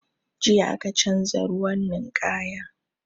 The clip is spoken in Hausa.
Jiya aka canza ruwan ninkaya